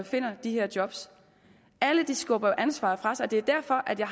finder de her job alle skubber ansvaret fra sig det er derfor at jeg